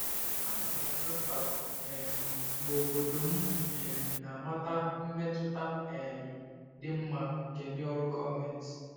Ana m enwe mpako um mgbe obodo m um na-amata mmetụta um dị mma nke ndị ọrụ gọọmentị.